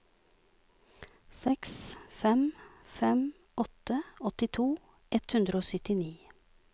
seks fem fem åtte åttito ett hundre og syttini